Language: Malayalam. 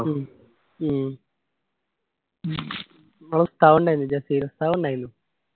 ഉം ഉം നിങ്ങള ഉസ്താദ് ഉണ്ടായനു ജസീൽ ഉസ്താത് ഉണ്ടായിന്നു